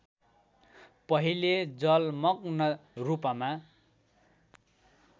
पहिले जलमग्न रूपमा